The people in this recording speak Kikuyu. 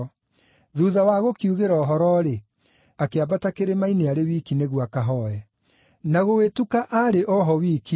Thuutha wa kũmoigĩra ũhoro-rĩ, akĩambata kĩrĩma-inĩ arĩ wiki nĩguo akahooe. Na gũgĩtuka aarĩ o ho wiki,